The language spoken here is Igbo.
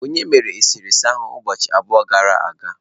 Onye mere eserese ahụ ụbọchị abụọ gara aga?